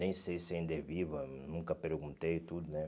Nem sei se ainda é viva, nunca perguntei e tudo, né?